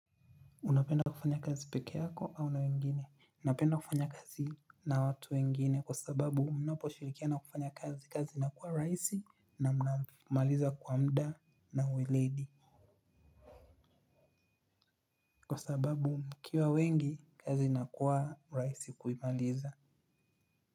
Unapenda kufanya kazi peke yako au na wengine. Napenda kufanya kazi na watu wengine kwa sababu mnapo shirikiana kufanya kazi kazi inakuwa raisi na mnamaliza kwa mda na uweledi. Kwa sababu mkiwa wengi kazi inakuwa raisi kuimaliza.